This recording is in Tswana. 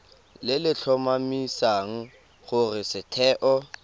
le le tlhomamisang gore setheo